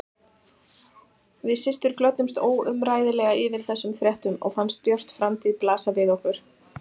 Við systur glöddumst óumræðilega yfir þessum fréttum og fannst björt framtíð blasa við okkur.